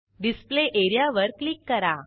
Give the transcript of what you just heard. display एरियावर click करा